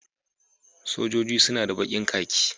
Sojojin suna da kakin bikin